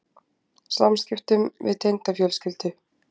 Samskiptunum við tengdafjölskyldu?